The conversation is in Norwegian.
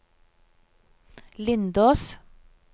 Lindås